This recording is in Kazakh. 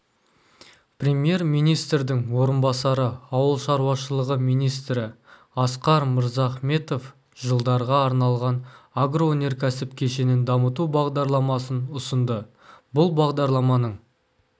премьер-министрдің орынбасары ауыл шаруашылығы министрі асқар мырзахметов жылдарға арналған агроөнеркәсіп кешенін дамыту бағдарламасын ұсынды бұл бағдарламаның